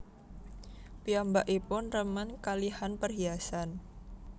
Piyambakipun remen kalihan perhiasan